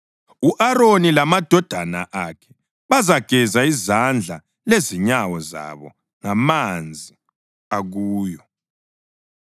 U-Aroni lamadodana akhe bazageza izandla lezinyawo zabo ngamanzi akuyo.